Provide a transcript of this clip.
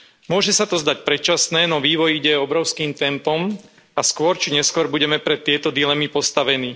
Môže sa to zdať predčasné, no vývoj ide obrovským tempom a skôr či neskôr budeme pred tieto dilemy postavení.